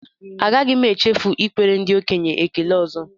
Agaghị m echefu ikwere ndị okenye ekele ọzọ